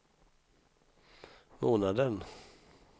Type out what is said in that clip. månaden